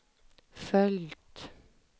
följt